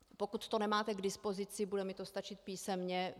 Pokud to nemáte k dispozici, bude mi to stačit písemně.